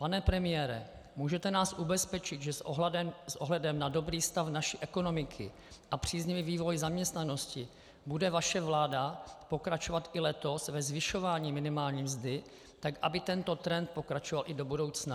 Pane premiére, můžete nás ubezpečit, že s ohledem na dobrý stav naší ekonomiky a příznivý vývoj zaměstnanosti bude vaše vláda pokračovat i letos ve zvyšování minimální mzdy tak, aby tento trend pokračoval i do budoucna?